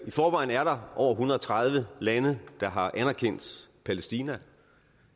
i forvejen er der over en hundrede og tredive lande der har anerkendt palæstina